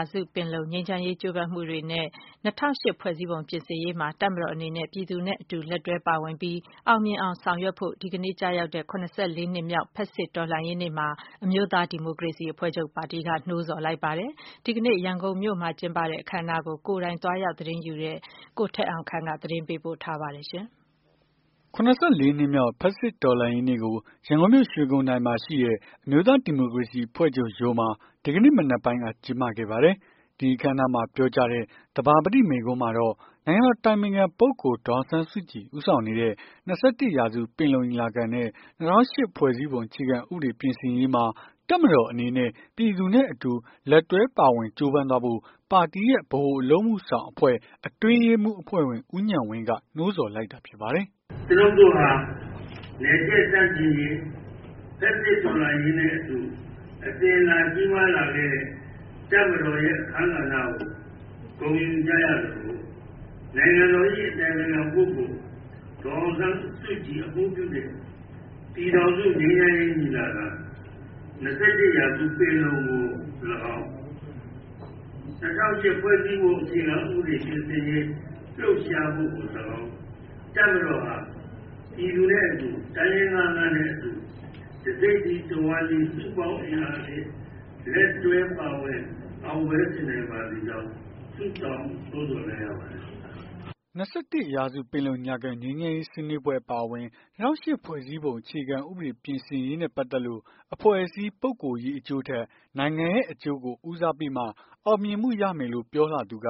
ာစုပင်လုံ ငြိမ်းချမ်းရေး ကြိုးပမ်းမှုတွေနဲ့ ၂၀၀၈ ဖွဲ့စည်းပုံ ပြင်ဆင်ရေးမှာ တပ်မတော်အနေနဲ့ ပြည်သူနဲ့အတူ လက်တွဲပါဝင်ပြီး အောင်မြင်အောင် ဆောင်ရွက်ဖို့ ဒီကနေ့ကျရောက်တဲ့ ၇၄ နှစ်မြောက် ဖက်ဆစ်တော်လှန်ရေးနေ့မှာ အမျိုးသား ဒီမိုကရေစီအဖွဲ့ချုပ်က နှိုးဆော်လိုက်ပါတယ်။ ဒီကနေ့ ရန်ကုန်မှာ ပြုလုပ်တဲ့ အခမ်းအနားကို ကိုယ်တိုင် သွားရောက်သတင်းယူတဲ့ ကိုထက်အောင်ခန့်က ပြောပြမှာပါ။ ၇၄ နှစ်မြောက် ဖက်ဆစ်တော်လှန်ရေးနေ့ကို ရန်ကုန်မြို့ ရွှေဂုံတိုင်မှာရှိတဲ့ အမျိုးသား ဒီမိုကရေစီ အဖွဲ့ချုပ်ရုံးမှာ ဒီကနေ့ မနက်ပိုင်းက ကျင်းပခဲ့ပါတယ်။ နိုင်ငံတော်အတိုင်ပင်ခံ ပုဂ္ဂိုလ် ဒေါ်အောင်ဆန်းစုကြည် ဦးဆောင်နေတဲ့၂၁ ရာစု ပင်လုံညီလာခံနဲ့ ၂၀၀၈ ဖွဲ့စည်းပုံ အခြေခံဥပဒေ ပြင်ဆင်ရေးမှာ တပ်မတော်အနေနဲ့ ပြည်သူနဲ့အတူ လက်တွဲပါဝင် ကြိုးပမ်းသွားဖို့ NLD ပါတီရဲ့ တိုက်တွန်းချက်ကို ပါတီဗဟိုအလုပ်အမှုဆောင်အဖွဲ့ အတွင်းရေးမှူး အဖွဲ့ဝင် ဦးဉာဏ်ဝင်းက ဖတ်ပြပါတယ်။ " ကျွနု်ပ် တို့ဟာ နယ်ချဲ့ဆန့်ကျင်ရေး ဖက်ဆစ်တော်လှန်ရေးနဲ့အတူ အစဉ်အလာ ကြီးမားလာခဲ့တဲ့ တပ်မတော်ရဲ့ အခန်းကဏ္ဍကို ဂုဏ်ယူကြရသလို နိုင်ငံတော်၏ အတိုင်ပင်ခံပုဂ္ဂိုလ် ဒေါ်အောင်ဆန်းစုကြည် အမှူးပြုတဲ့ ပြည်ထောင်စု ငြိမ်းချမ်းရေး ညီလာခံ ရာစု ပင်လုံကိုလည်းကောင်း ၊ ၂၀၀၈ ဖွဲ့စည်းပုံ အခြေခံ ဥပဒေ ပြင်ဆင်ရေး လှုပ်ရှားမှုကိုလည်းကောင်း ၊ တပ်မတော်ဟာ ပြည်သူနဲ့အတူ တိုင်းရင်းသားများနဲ့အတူ တစ်စိတ်တည်း တစ်ဝမ်းတည်း စုပေါင်းအင်အားအဖြစ် လက်တွဲပါဝင် အောင်ပွဲဆင်နိုင်ပါစေကြောင်း ဆုတောင်း နှိုးဆော်လိုက်ရပါတယ်။" ၂၁ ရာစု ပင်လုံညီလာခံ ငြိမ်းချမ်းရေး ဆွေးနွေးပွဲအပါအဝင် ၂၀၀၈ ဖွဲ့စည်းပုံ ပြင်ဆင်ရေးနဲ့ ပတ်သက်လို့ အဖွဲ့အစည်း ပုဂ္ဂိုလ်ရေးအကျိုးထက် နိုင်ငံရဲ့ အကျိုးကို ဦးစားပေးမှ အောင်မြင်မှုရမယ်လို့ ပြောလာသူက